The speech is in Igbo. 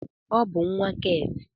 Ọ bụ nwa Keeti.